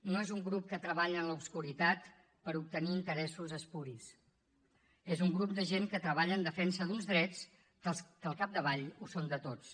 no és un grup que treballa en l’obscuritat per obtenir interessos espuris és un grup de gent que treballa en defensa d’uns drets que al capdavall ho són de tots